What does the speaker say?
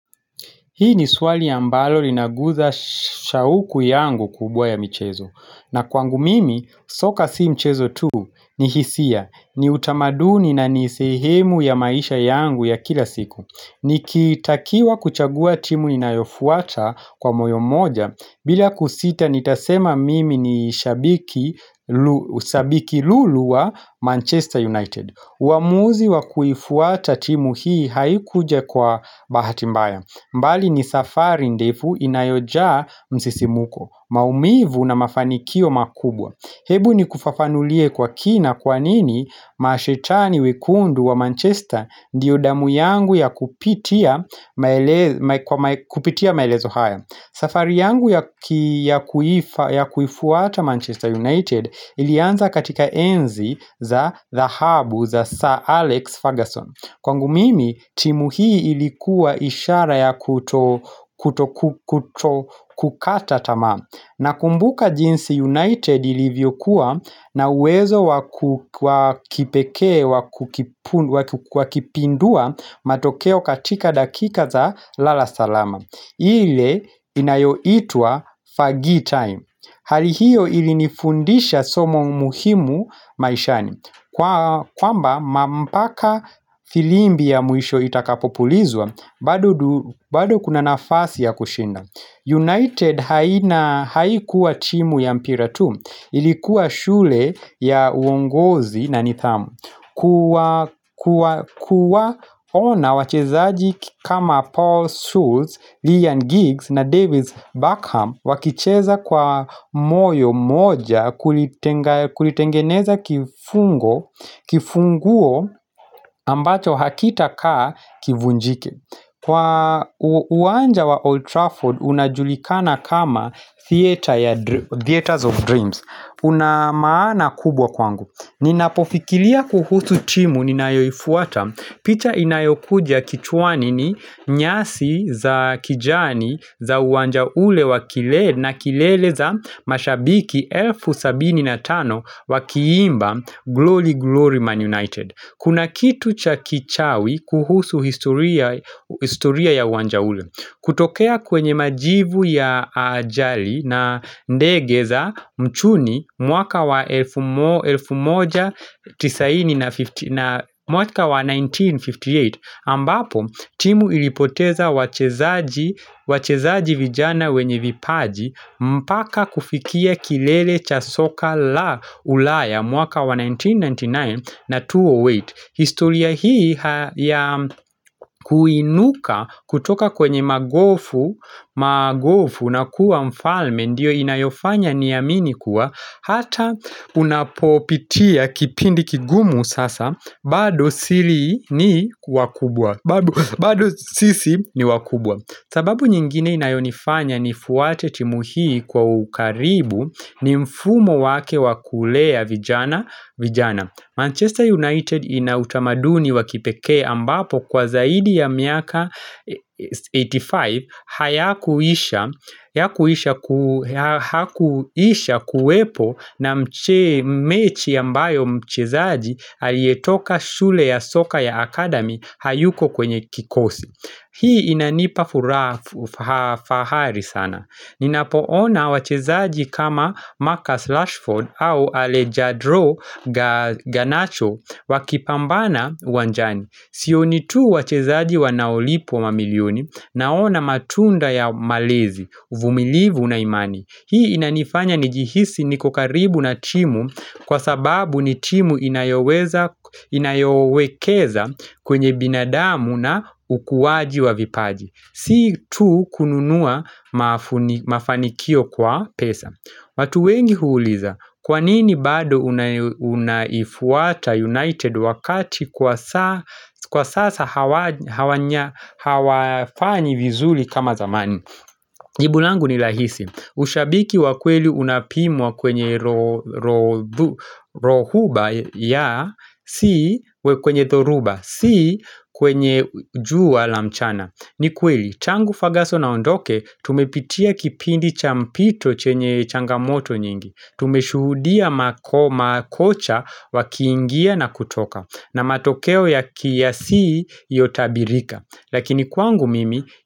Hii ni swali ambalo linaguza shauku yangu kubwa ya michezo. Na kwangu mimi, soka si mchezo tu ni hisia. Ni utamaduni na nisehemu ya maisha yangu ya kila siku. Ni kitakiwa kuchagua timu inayofuata kwa moyo mmoja. Bila kusita, nitasema mimi ni shabiki lulu wa Manchester United. Uamuzi wa kuifuata timu hii haikuja kwa bahati mbaya. Mbali ni safari ndefu inayojaa msisimuko, maumivu na mafanikio makubwa. Hebu ni kufafanulie kwa kina kwanini mashetani wekundu wa Manchester ndio damu yangu ya kupitia maelezo haya. Safari yangu ya kuifuata Manchester United ilianza katika enzi za dhahabu za Sir Alex Ferguson. Kwangu mimi, timu hii ilikuwa ishara ya kutokukata tamaa. Nakumbuka jinsi United ilivyokuwa na uwezo wakipekee, wakipindua matokeo katika dakika za lalasalama. Ile inayo itwa Fergie time. Hali hiyo ili nifundisha somo muhimu maishani. Kwamba mpaka firimbi ya mwisho itakapopulizwa bado bado kuna nafasi ya kushinda United haina haikuwa timu ya mpira tu Ilikuwa shule ya uongozi na nidhamu kuwa ona wachezaji kama Paul Scholes, Ryan Giggs na Davis Beckham wakicheza kwa moyo mmoja kulitengeneza kifungo kifunguo ambacho hakita kaa kivunjike Kwa uwanja wa Old Trafford unajulikana kama Theaters of Dreams Una maana kubwa kwangu Ninapofikiria kuhusu timu ninayoifuata picha inayokuja kichwani ni nyasi za kijani za uwanja ule wakilele na kilele za mashabiki elfu sabini na tano wakiimba Glory Glory Man United. Kuna kitu cha kichawi kuhusu historia ya uwanja ule. Kutokea kwenye majivu ya ajali na ndege za mchuni mwaka wa 1958 ambapo timu ilipoteza wachezaji vijana wenye vipaji mpaka kufikia kilele cha soka la ulaya mwaka wa 1999 na 2008. Historia hii ya kuinuka kutoka kwenye magofu na kuwa mfalme ndiyo inayofanya niamini kuwa hata unapopitia kipindi kigumu sasa bado sisi ni wakubwa. Bado sisi ni wakubwa sababu nyingine inayonifanya ni fuate timu hii kwa ukaribu ni mfumo wake wakulea vijana Manchester United inautamaduni wakipekee ambapo kwa zaidi ya miaka 85 Hayakuisha kuwepo na mechi ambayo mchezaji Aliyetoka shule ya soka ya academy hayuko kwenye kikosi Hii inanipa fahari sana Ninapoona wachezaji kama Marcus Rashford au Alejandro Ganacho Wakipambana uwanjani Sioni tu wachezaji wanaolipwa mamilioni Naona matunda ya malezi, uvumilivu na imani Hii inanifanya ni jihisi nikokaribu na timu Kwa sababu ni timu inayoweza inayowekeza kwenye binadamu na ukuaji wa vipaji Si tu kununua mafanikio kwa pesa watu wengi huuliza, kwanini bado unaifuata United wakati Kwa sasa hawafanyi vizuri kama zamani Jibu langu ni rahisi Ushabiki wakweli unapimwa kwenye rohuba ya Si kwenye thoruba Si kwenye juu wala mchana ni kweli, tangu Ferguson aondoke Tumepitia kipindi cha mpito chenye changamoto nyingi Tumeshuhudia makocha wakiingia na kutoka na matokeo ya kiasi iliyotabirika Lakini kwangu mimi.